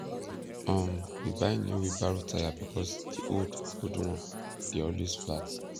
um we buy new wheelbarrow tyre because di old old one dey always flat